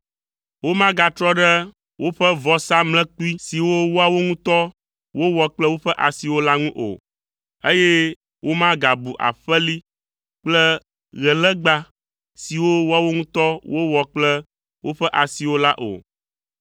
Womagatrɔ ɖe woƒe vɔsamlekpui siwo woawo ŋutɔ wowɔ kple woƒe asiwo la ŋu o, eye womagabu aƒeli kple ɣelégba siwo woawo ŋutɔ wowɔ kple woƒe asiwo la o.